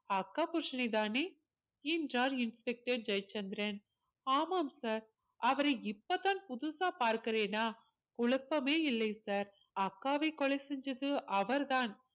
அக்கா புருஷனைதானே என்றார் inspector ஜெயச்சந்திரன் ஆமாம் sir அவரை இப்பதான் புதுசா பார்க்கிறேனா குழப்பமே இல்லை sir அக்காவை கொலை செஞ்சது அவர்தான்